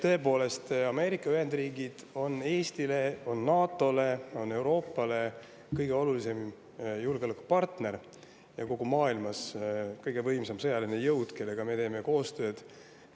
Tõepoolest, Ameerika Ühendriigid on Eestile, NATO‑le, Euroopale kõige olulisem julgeolekupartner ja kogu maailmas kõige võimsam sõjaline jõud, kellega me teeme koostööd.